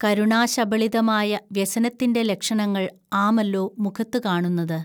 കരുണാശബളിതമായ വ്യസനത്തിന്റെ ലക്ഷണങ്ങൾ ആമല്ലോ മുഖത്തു കാണുന്നത്